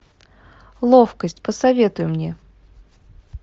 ловкость посоветуй мне